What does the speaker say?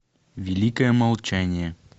великое молчание